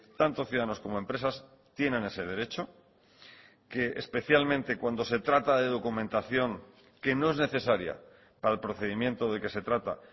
tanto ciudadanos como empresas tienen ese derecho que especialmente cuando se trata de documentación que no es necesaria para el procedimiento de que se trata